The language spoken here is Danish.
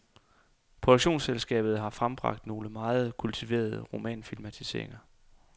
Produktionsselskabet har frembragt nogle meget kultiverede romanfilmatiseringer.